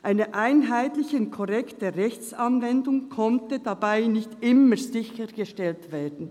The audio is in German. Eine einheitliche und korrekte Rechtsanwendung konnte dabei nicht immer sichergestellt werden.